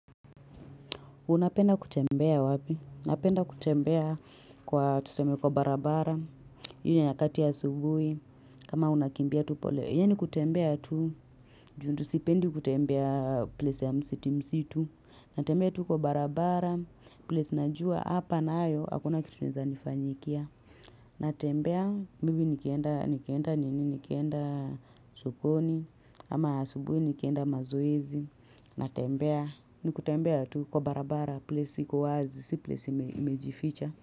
Unapenda kutembele wapi? Napenda kutembea kwa tuseme kwa barabara. Inywa nyakati ya asubuhi. Kama unakimbia Yani ni kutembea tu. Juu tu sipendi kutembea place ya msiti msitu. Natembea tu kwa barabara. Place najua hapa nayo. Hakuna kitu inaeza nifanyikia. Natembea maybe nikienda nini nikienda suponi. Ama asubuhi nikienda mazoezi. Natembea ni kutembea tu kwa barabara place iko wazi si place iure.